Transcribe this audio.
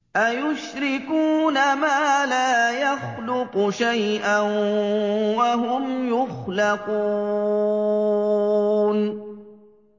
أَيُشْرِكُونَ مَا لَا يَخْلُقُ شَيْئًا وَهُمْ يُخْلَقُونَ